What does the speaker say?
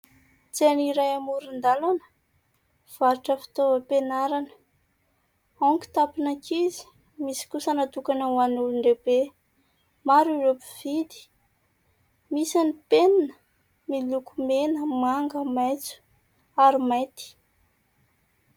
Tsena iray amoron-dalana varotra fitaovam-pianarana : ao ny kitapon'ankizy, misy kosa natokana ho an'olon-dehibe. Maro ireo mpividy. Misy ny penina miloko : mena, manga, maitso ary mainty.